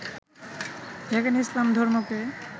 যেখানে ইসলাম ধর্মকে